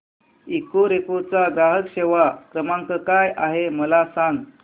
Ecoreco चा ग्राहक सेवा क्रमांक काय आहे मला सांग